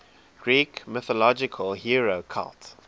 greek mythological hero cult